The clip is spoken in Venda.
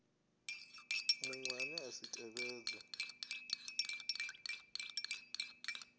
muṅwe ane a si tevhedze